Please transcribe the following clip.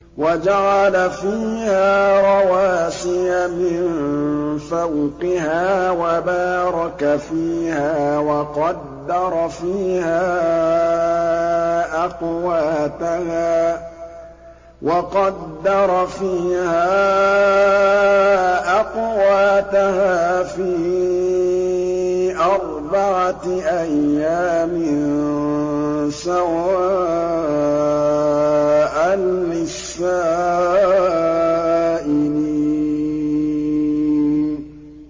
وَجَعَلَ فِيهَا رَوَاسِيَ مِن فَوْقِهَا وَبَارَكَ فِيهَا وَقَدَّرَ فِيهَا أَقْوَاتَهَا فِي أَرْبَعَةِ أَيَّامٍ سَوَاءً لِّلسَّائِلِينَ